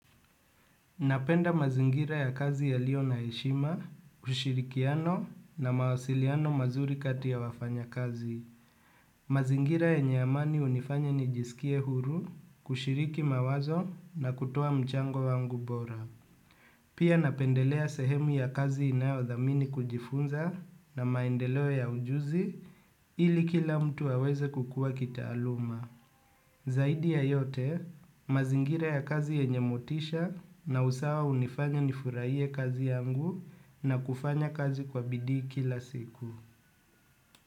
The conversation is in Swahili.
Napenda mazingira ya kazi yaliyo na heshima ushirikiano na mawasiliano mazuri kati ya wafanya kazi. Mazingira yenye amani hunifanya ni jisikie huru kushiriki mawazo na kutoa mchango wangu bora. Pia napendelea sehemu ya kazi inayodhamini kujifunza na maendeleo ya ujuzi ili kila mtu aweze kukua kitaaluma. Zaidi ya yote, mazingira ya kazi yenye motisha na usawa hunifanya nifurahie kazi yangu na kufanya kazi kwa bidii kila siku.